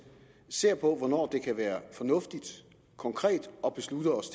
ser på hvornår det kan være fornuftigt konkret at beslutte os